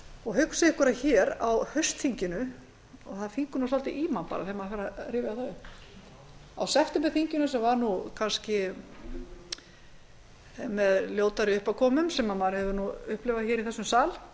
og hugsið ykkur að á haustþinginu og það fýkur svolítið í mann þegar maður fer að rifja það upp á septemberþinginu sem var kannski með ljótari uppákomum sem maður hefur upplifað í þessum sal